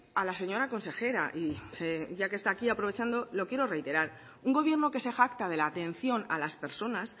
a la señora consejera y ya que está aquí aprovechando lo quiero reiterar un gobierno que se jacta de la atención a las personas